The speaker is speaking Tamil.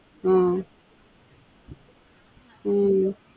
உம் உம்